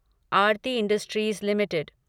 Aarti industries limited